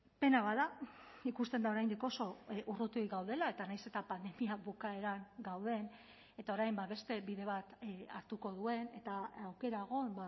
pena bat da ikusten da oraindik oso urruti gaudela eta nahiz eta pandemia bukaeran gauden eta orain beste bide bat hartuko duen eta aukera egon